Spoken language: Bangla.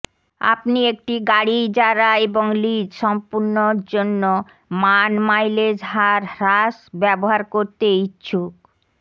আপনি একটি গাড়ী ইজারা এবং লিজ সম্পূর্ণ জন্য মান মাইলেজ হার হ্রাস ব্যবহার করতে ইচ্ছুক